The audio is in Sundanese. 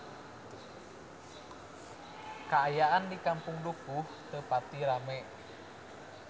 Kaayaan di Kampung Dukuh teu pati rame